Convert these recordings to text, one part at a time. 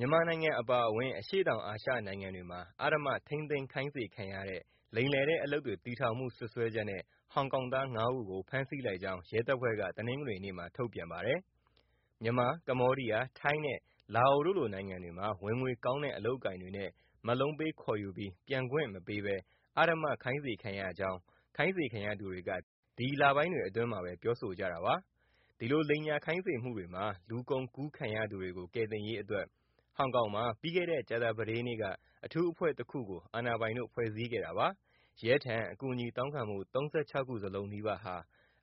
မြန်မာနိုင်ငံ အပါအဝင် အရှေ့တောင် အာရှ နိုင်ငံတွေမှာ အဓမ္မ ထိန်းသိမ်းခိုင်းစေခံရတဲ့ လိမ်လည်တဲ့ အလုပ်တွေ တည်ထောင်မှု စွပ်စွဲချက်နဲ့ ဟောင်ကောင်သား ၅ ဦးကို ဖမ်းဆီးလိုက်ကြောင်း ရဲတပ်ဖွဲ့က တနင်္ဂနွေနေ့မှာ ထုတ်ပြန်ပါတယ်။ မြန်မာ၊ ကမ္ဘေားဒီးယား၊ ထိုင်းနဲ့ လာအိုတို့လို နိုင်ငံတွေမှာ ဝင်ငွေကောင်းတဲ့ အလုပ်အကိုင်တွေနဲ့ မက်လုံးပေး ခေါ်ယူပြီး ပြန်ခွင့် မပေးဘဲ အဓမ္မ ခိုင်းစေခံရကြောင်း ခိုင်းစေခံရသူတွေက ဒီ လပိုင်းတွေ အတွင်းမှာဘဲ ပြောဆိုကြတာပါ။ ဒီလို လိမ်ညာ ခိုင်းစေမှုမှာ လူကုန်ကူးခံရသူတွေကို ကယ်တင်ရေး အတွက် ဟောင်ကောင်မှာ ပြီးခဲ့တဲ့ ကြာသပတေးနေ့က အထူးအဖွဲ့တခုကို အာဏာပိုင်တို့ ဖွဲ့စည်းခဲ့တာပါ။ ရဲထံ အကူအညီ တောင်းခံမှု ၃၆ ခု စလုံး နီးပါးဟာ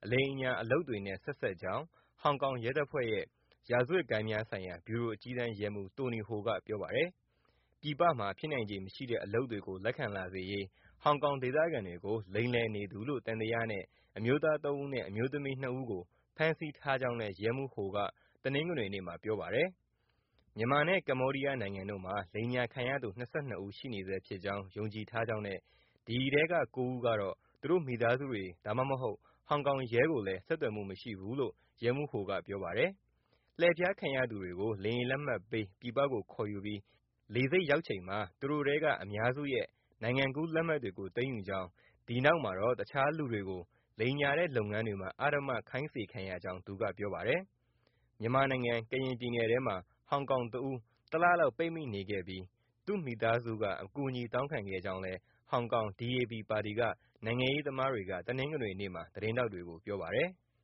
အလိမ်အညာ အလုပ်တွေနဲ့ ဆက်စပ်ကြောင်း ဟောင်ကောင် ရဲတပ်ဖွဲ့ရဲ့ ရာဇဝတ်ဂိုဏ်းများဆိုင်ရာ ဗျူရို အကြီးတန်း ရဲမှူး Tony Ho က ပြောပါတယ်။ ပြည်ပမှာ ဖြစ်နိုင်ခြေ မရှိတဲ့ အလုပ်တွေကို လက်ခံလာစေရေး ဟောင်ကောင် ဒေသခံတွေကို လိမ်လည်နေသူလို့ သံသယနဲ့ အမျိုးသား ၃ ဦးနဲ့ အမျိုးသမီး ၂ ဦးကို ဖမ်းဆီးထားကြောင်းလည်း ရဲမှူး Ho က တနင်္ဂနွေနေ့မှာ ပြောပါတယ်။ မြန်မာနဲ့ ကမ္ဘေားဒီယား နိုင်ငံတို့မှာ လိမ်ညာ ခံရသူ ၂၂ ဦး ရှိနေဆဲဖြစ်ကြောင်း ယုံကြည်ထားကြောင်းနဲ့ ဒီထဲက ၉ ဦးကတော့ သူတို့ မိသားစုတွေ ဒါမှမဟုတ်လည်း ဟောင်ကောင် ရဲကို ဆက်သွယ်မှု မရှိဘူးလို့လည်း ရဲမှူး Ho က ပြောပါတယ်။ လှည့်ဖျား ခံရသူတွေကို လေယာဉ်လက်မှတ်ပေး ပြည်ပကို ခေါ်ယူပြီး လေဆိပ် ရောက်ချိန်မှာ သူတို့ထဲက အများစုရဲ့ နိုင်ငံကူး လက်မှတ်တွေကို သိမ်းယူကြောင်း၊ ဒီနောက်မှာတော့ တခြားလူတွေကို လိမ်ညာတဲ့ လုပ်ငန်းတွေမှာ အဓမ္မ ခိုင်းစေခံရကြောင်း သူက ပြောပါတယ်။ မြန်မာနိုင်ငံ ကရင် ပြည်နယ်ထဲမှာ ဟောင်ကောင် တဦး တလလောက် ပိတ်မိနေခဲ့ပြီး သူ့မိသားစုက အကူအညီ တောင်းခံခဲ့ကြောင်းလည်း ဟောင်ကောင် DAB ပါတီက နိုင်ငံရေး သမားတွေက တနင်္ဂနွေနေ့မှာ သတင်းထောက်တွေကို ပြောပါတယ်။